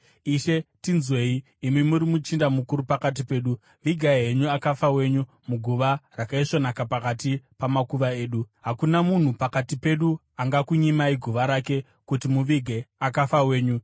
“Ishe, tinzwei. Imi muri muchinda mukuru pakati pedu. Vigai henyu akafa wenyu muguva rakaisvonaka pakati pamakuva edu. Hakuna munhu pakati pedu angakunyimai guva rake kuti muvige akafa wenyu.”